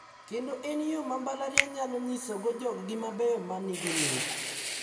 Kendo en yo ma mbalariany nyalo nyisogo joggi mabeyo ma nigi mich.